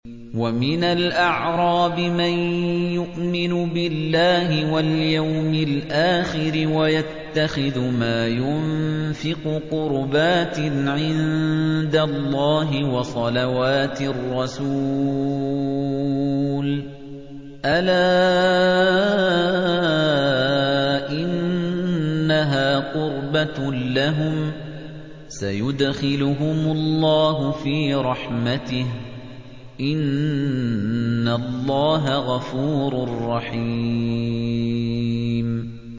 وَمِنَ الْأَعْرَابِ مَن يُؤْمِنُ بِاللَّهِ وَالْيَوْمِ الْآخِرِ وَيَتَّخِذُ مَا يُنفِقُ قُرُبَاتٍ عِندَ اللَّهِ وَصَلَوَاتِ الرَّسُولِ ۚ أَلَا إِنَّهَا قُرْبَةٌ لَّهُمْ ۚ سَيُدْخِلُهُمُ اللَّهُ فِي رَحْمَتِهِ ۗ إِنَّ اللَّهَ غَفُورٌ رَّحِيمٌ